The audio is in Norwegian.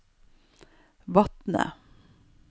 Vatne